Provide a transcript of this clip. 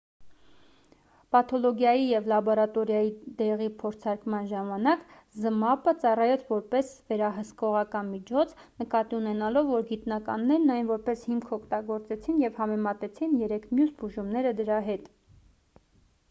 պաթոլոգիայի և լաբորատորիայի դեղի փորձարկման ժամանակ զմապը ծառայեց որպես վերահսկողական միջոց նկատի ունենալով որ գիտնականներն այն որպես հիմք օգտագործեցին և համեմատեցին երեք մյուս բուժումները դրա հետ